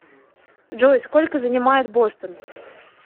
джой сколько занимает бостон